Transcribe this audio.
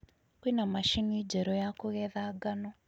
Kwĩna macini njerũ ya kũgetha ngano